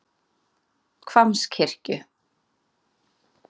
Hvammskirkju